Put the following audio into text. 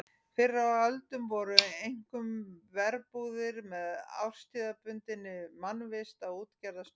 Fyrr á öldum voru einkum verbúðir með árstíðabundinni mannvist á útgerðarstöðum.